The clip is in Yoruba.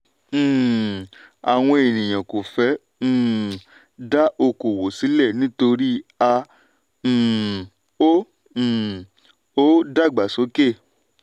um àwọn ènìyàn kò fẹ́ um dá oko òwò sílẹ̀ nítorí a um ò um ò dàgbàsókè.